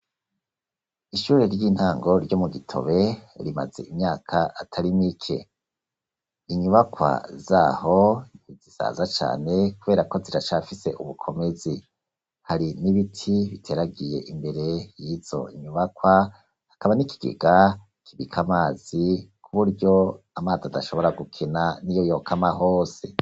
Ishure ry'intango, ryo mu Gitobe, rimaze imyaka atari mike; inyuba z'aho, ntizisaza cane, kubera ko, ziracafise ubukomezi; hari n'ibiti, biteragiye imbere y'izo nyubakwa, hakaba n'ikigega kibika amazi, ku buryo, amazi adashobora gukena, n'iyo yokama hose.